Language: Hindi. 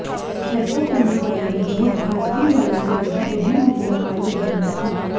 ऐसा करने वाली वह भारतीय वायु सेना की पहली महिला पायलट बनी थीं